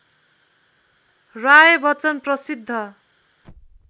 राय बच्चन प्रसिद्ध